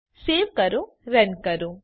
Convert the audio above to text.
save કરો run કરો